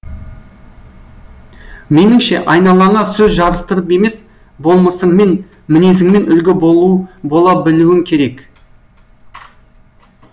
меніңше айналаңа сөз жарыстырып емес болмысыңмен мінезіңмен үлгі бола білуің керек